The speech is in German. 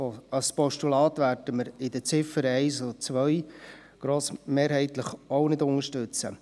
Als Postulat werden wir die Ziffern 1 und 2 grossmehrheitlich auch nicht unterstützen.